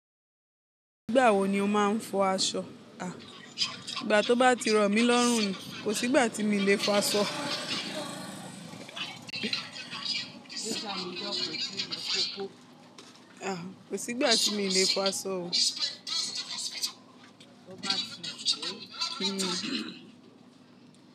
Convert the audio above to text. Nigbà wó ni ò mà n fó àṣọ? À igbà tó bà tí rọ mì lọ̀rùn ni kò sígbà tí mi lè fó àṣọ. À kò sígbà tí mi lè fó àṣọ ó.